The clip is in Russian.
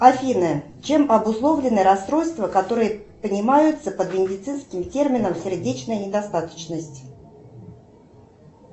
афина чем обусловлены расстройства которые понимаются под медицинским термином сердечная недостаточность